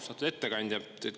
Austatud ettekandja!